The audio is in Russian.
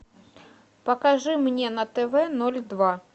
покажи мне на тв ноль два